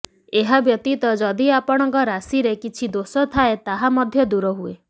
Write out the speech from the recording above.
ଏହାବ୍ୟତୀତ ଯଦି ଆପଣଙ୍କ ରାଶିରେ କିଛି ଦୋଷ ଥାଏ ତାହା ମଧ୍ୟ ଦୂର ହୁଏ